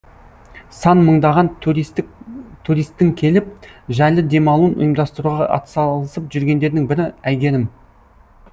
сан мыңдаған туристтің келіп жайлы демалуын ұйымдастыруға атсалысып жүргендердің бірі әйгерім